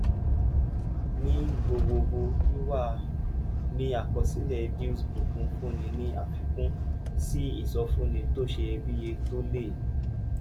ní gbogbogbo wíwà ní àkọsílẹ̀ dealsbook ń fúnni ní àfikún sí ìsọfúnni tó ṣeyebíye tó lè